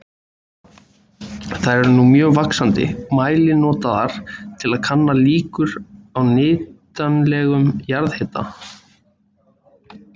Þær eru nú í mjög vaxandi mæli notaðar til að kanna líkur á nýtanlegum jarðhita.